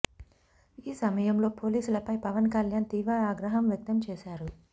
ఈ సమయంలో పోలీసులపై పవన్ కళ్యాణ్ తీవ్ర ఆగ్రహం వ్యక్తం చేశారు